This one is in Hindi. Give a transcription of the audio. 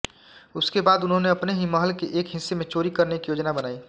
उसके बाद उन्होंने अपने ही महल के एक हिस्से में चोरी करने की योजना बनाई